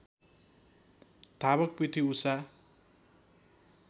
धावक पिटी उषा